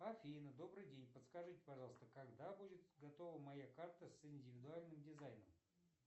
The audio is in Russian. афина добрый день подскажите пожалуйста когда будет готова моя карта с индивидуальным дизайном